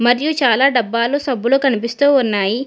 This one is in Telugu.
అలాగే చాలా డబ్బాలు సబ్బులు కనిపిస్తూ ఉన్నాయి.